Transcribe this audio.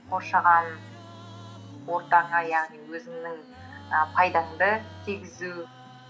қоршаған ортаңа яғни өзіңнің і пайдаңды тигізу